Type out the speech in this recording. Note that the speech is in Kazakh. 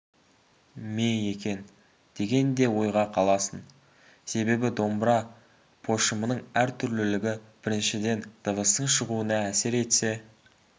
ме екен деген де ойға қаласың себебі домбыра пошымының әртүрлілігі біріншіден дыбыстың шығуына әсер етсе